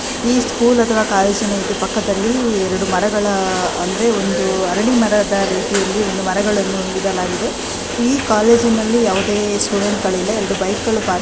ಈ ಸ್ಕೂಲ್ ಅಥವಾ ಕಾಲೇಜಿನ ಪಕ್ಕದಲ್ಲಿ ಇರಡೂ ಮರಗಳ ಅಂದ್ರೆ ಒಂದು ಅರಳಿ ಮರದ ರೀತಿಯಲ್ಲಿ ಮರಗಳನ್ನು ಇಡಲಾಗಿದೆ ಕಾಲೇಜಿನಲ್ಲಿ ಯಾವದೇ ಸ್ಟೂಡೆಂಟ್ ಗಳಿಲ್ಲ ಎರಡು ಬೈಕ್ಗಳು ಪಾರ್ಕ್ --